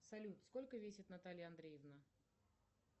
салют сколько весит наталья андреевна